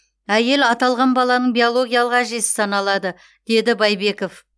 әйел аталған баланың биологиялық әжесі саналады деді байбеков